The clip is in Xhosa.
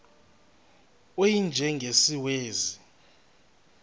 u y njengesiwezi